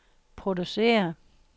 producere